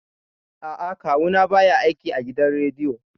A'a, Kawu na ba ya aiki a gidan rediyo